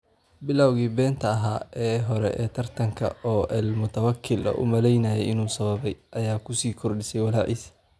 Bilawgii beenta ahaa ee hore ee tartanka - oo El Moutawakel uu u malaynayay inuu sababay - ayaa ku sii kordhisay walaaciisa.